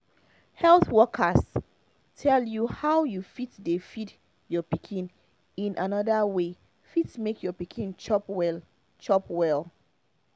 health workers tell you how you fit dey feed your pikin in another way fit make your pikin chop well chop well